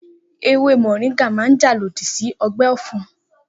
Ewé mọ̀ríńgà máa jà lòdì sí ọgbẹ́ ọ̀fun